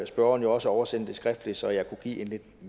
spørgeren jo også oversende det skriftligt så jeg kunne give en lidt